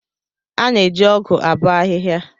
A na-eji ọgụ abọ ahihia.